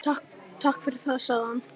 Mig dreymdi þig.